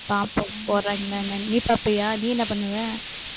பாப்போம் போடுறாங்காளா என்னனு நீ பாப்பியா நீ என்ன பண்ணுவ?